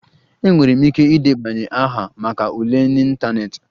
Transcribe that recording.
Enwere m ike ịdebanye aha maka ule n'ịntanetị